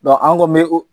an ko bɛ o